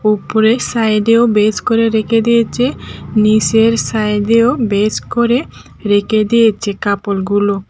উপরের সাইড এও বেজ করে রেখে দিয়েচে নীসের সাইড -এও বেজ করে রেখে দিয়েছে কাপড়গুলো।